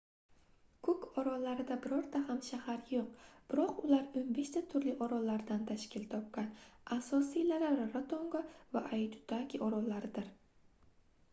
kuk orollarida birorta ham shahar yoʻq biroq ular 15 ta turli orollardan tashkil topgan asosiylari rarotonga va aitutaki orollaridir